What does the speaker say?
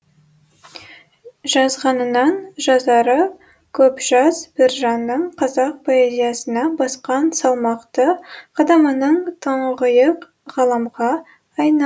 жазғанынан жазары көп жас біржанның қазақ поэзиясына басқан салмақты қадамының тұңғиық ғаламға айна